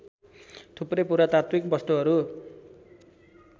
थुप्रै पुरातात्विक वस्तुहरू